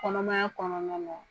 Kɔnɔmaya kɔnɔna na.